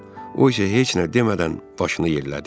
O isə heç nə demədən başını yellədi.